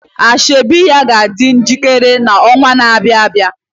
Asoebi ya ga-adị njikere n'ọnwa na-abịa